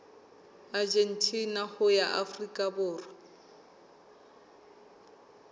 argentina ho ya afrika borwa